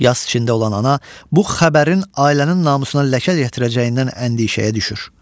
Yas içində olan ana bu xəbərin ailənin namusuna ləkə gətirəcəyindən əndişəyə düşür.